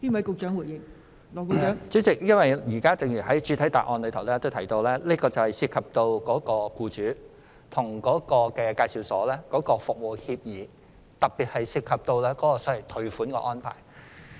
代理主席，正如我剛才提到，這問題涉及僱主與職業介紹所之間所訂的服務協議，特別是涉及退款安排。